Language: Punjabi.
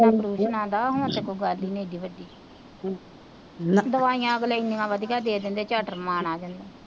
ਪ੍ਰੇਸ਼ਨਾ ਉਪਰੇਸ਼ਨਾ ਦਾ ਹੁਣ ਤਾਂ ਕੋਈ ਗੱਲ ਹੀ ਨੀ ਏਡੀ ਬਡੀ ਦੁਆਇਆ ਅਗਲੇ ਏਨੀਆ ਵਧੀਆ ਦੇ ਦਿੰਦੇ ਚੱਟ ਰਮਾਨ ਆ ਜਾਂਦਾ,